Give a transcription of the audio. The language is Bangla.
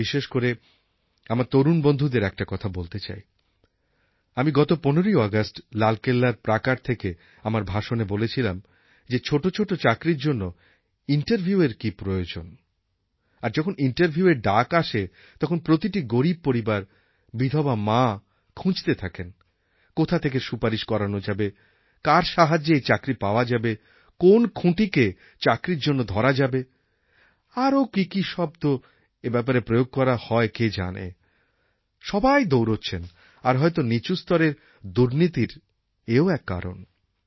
আমি বিশেষ করে আমার তরুণ বন্ধুদের একটি কথা বলতে চাই আমি গত ১৫ই অগাস্ট লালকেল্লার প্রাকার থেকে আমার ভাষণে বলেছিলাম যে ছোটো ছোটো চাকরির জন্য ইন্টারভিউএর কি প্রয়োজন আর যখন ইন্টারভিউএর ডাক আসে তখন প্রতিটি গরীব পরিবার বিধবা মা খুঁজতে থাকেন কোথা থেকে সুপারিশ করানো যাবে কার সাহায্যে এই চাকরি পাওয়া যাবে কোন খুঁটিকে চাকরির জন্য ধরা যাবে আরও কিকি শব্দ এই ব্যাপারে প্রয়োগ করা হয় কে জানে সবাই দৌড়চ্ছেন আর হয়ত নীচুস্তরের দুর্ণীতির এও এক কারণ